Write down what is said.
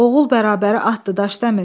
Oğul bərabəri atdır Daşdəmir.